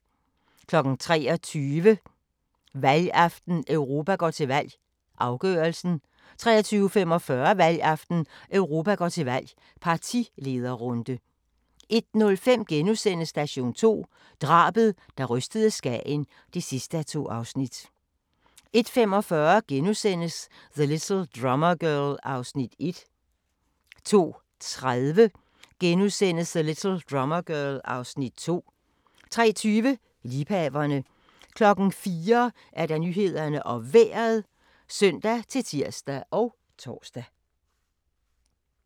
23:00: Valgaften - Europa går til valg, afgørelsen 23:45: Valgaften - Europa går til valg, partilederrunde 01:05: Station 2: Drabet, der rystede Skagen (2:2)* 01:45: The Little Drummer Girl (Afs. 1)* 02:30: The Little Drummer Girl (Afs. 2)* 03:20: Liebhaverne 04:00: Nyhederne og Vejret (søn-tir og tor)